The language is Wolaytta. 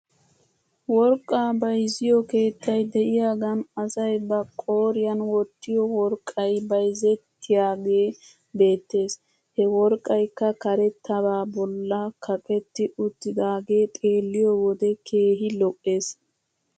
Worqqaa bayzziyoo keettay de'iyaagan asay ba qooryan wottiyoo worqqay bayzettiyaagee beettes. He worqqaykka karettabaa bolla kaqetti uttidaagee xeelliyoo wode keehi lo'es.